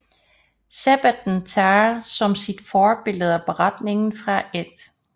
Sabbatten tager som sit forbillede beretningen fra 1